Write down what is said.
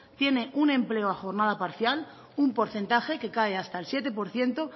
tiene un empleo a jornada parcial un porcentaje que cae hasta el siete por ciento